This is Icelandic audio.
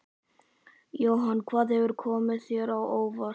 Jóhann: Hvað hefur komið þér á óvart?